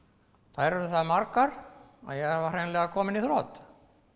þær urðu það margar að ég var hreinlega kominn í þrot